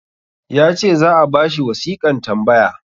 ya ce za a ba shi wasiƙan tambaya